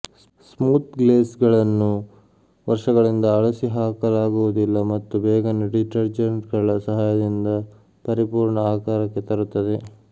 smooth ಗ್ಲೇಸುಗಳನ್ನೂ ವರ್ಷಗಳಿಂದ ಅಳಿಸಿಹಾಕಲಾಗುವುದಿಲ್ಲ ಮತ್ತು ಬೇಗನೆ ಡಿಟರ್ಜೆಂಟ್ಗಳ ಸಹಾಯದಿಂದ ಪರಿಪೂರ್ಣ ಆಕಾರಕ್ಕೆ ತರುತ್ತದೆ